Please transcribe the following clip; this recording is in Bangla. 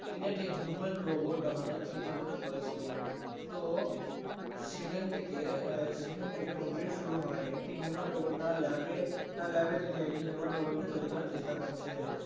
তিনি একটি Human Robot বানানোর চিন্তা ভাবনা করেছিলেন তো সেখান থেকে আহ সেখান থেকে movie শুরু হয় একটি Human Robot তার Lab এ তার Lab এ তিনি একটি কে Human Robot তৈরি করার চেষ্টা করছে